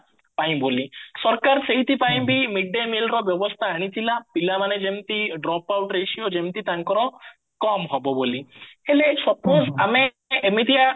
ପାଇଁ ବୋଲି ସରକାର ସେଇଥିପାଇଁ midday millର ବ୍ୟବସ୍ଥା ଆଣିଥିଲା ପିଲା ମାନେ ଯେମତି drop out ratio ଯେମତି ତାଙ୍କର କମ ହବ ବୋଲି ହେଲେ suppose ଆମେ ଏମିତିଆ